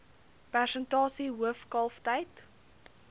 persentasie hoof kalftyd